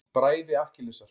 Bræði Akkilesar.